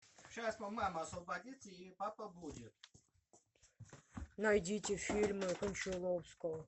найдите фильмы кончаловского